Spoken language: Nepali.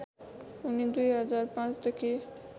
उनी २००५ देखि